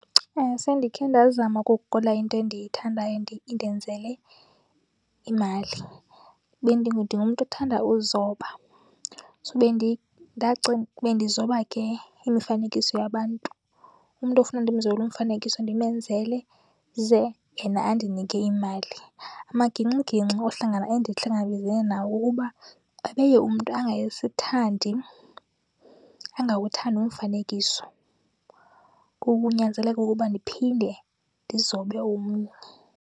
Sendikhe ndazama ukuguqula into endiyithandayo indenzele imali. Ndingumntu othanda uzoba so bendizoba ke imifanekiso yabantu. Umntu ofuna ndimzobele umfanekiso ndimenzele ze yena andinike imali. Amagingxigingxi ohlangana, endihlangabezene nawo ngawokuba abeye umntu angasithandi, angawuthandi umfanekiso. Ngoku kunyanzeleke ukuba ndiphinde ndizobe omnye.